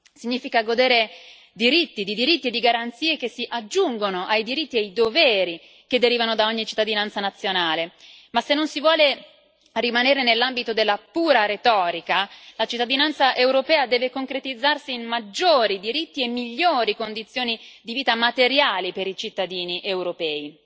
Significa godere di diritti e di garanzie che si aggiungono ai diritti e ai doveri che derivano da ogni cittadinanza nazionale, ma se non si vuole rimanere nell'ambito della pura retorica, la cittadinanza europea deve concretizzarsi in maggiori diritti e migliori condizioni di vita materiali per i cittadini europei.